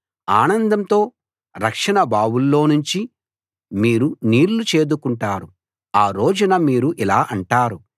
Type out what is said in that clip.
ఆనందంతో రక్షణ బావుల్లోనుంచి మీరు నీళ్లు చేదుకుంటారు ఆ రోజున మీరు ఇలా అంటారు